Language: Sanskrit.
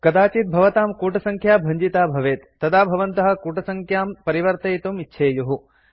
कदाचित् भवतां कूटसङ्ख्या भञ्जिता भवेत् तदा भवन्तः कूटसङ्ख्यां परिवर्तयितुं इच्छेयुः